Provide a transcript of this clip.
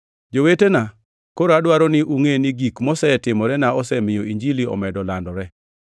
Jowetena, koro adwaro ni ungʼe, ni gik mosetimorena osemiyo Injili omedo landore.